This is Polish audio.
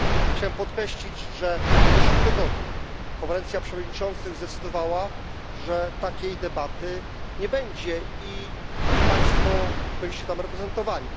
Chciałem podkreślić, że w zeszłym tygodniu Konferencja Przewodniczących zdecydowała, że takiej debaty nie będzie i państwo byliście tam reprezentowani.